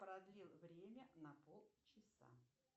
продлил время на полчаса